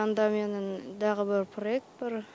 анда менің тағы бір проект бар